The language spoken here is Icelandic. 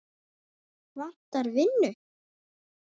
Vantar vinnu